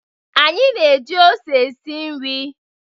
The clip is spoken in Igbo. Anyị na-eji ose esi nri.